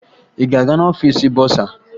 Ị ga-aga n'ọfiisi bọsaa?